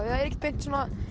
ekki beint